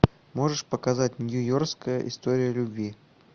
можешь показать нью йоркская история любви